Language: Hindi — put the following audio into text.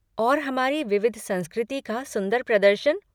और हमारी विविध संस्कृति का सुंदर प्रदर्शन।